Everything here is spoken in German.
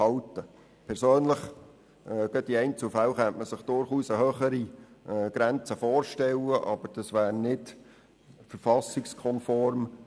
Man könnte sich in Einzelfällen durchaus eine höhere Grenze vorstellen, aber dies wäre nicht verfassungskonform.